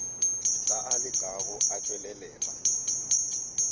ka a lekago a tšwelelela